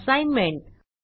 assignment